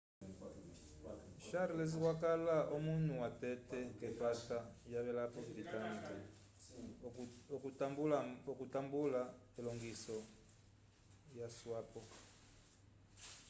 charles wakala omunu watete k'epata yavelapo britânica okutambula elongiso yaswapo